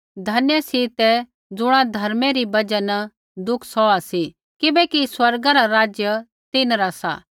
धन्य सी तै ज़ुणा धर्मै री बजहा न दुख सौहा सी किबैकि स्वर्ग रा राज्य तिन्हरा सा